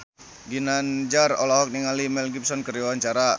Ginanjar olohok ningali Mel Gibson keur diwawancara